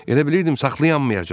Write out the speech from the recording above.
Elə bilirdim saxlayammayacam.